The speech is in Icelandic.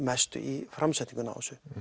mestu í framsetningunni á þessu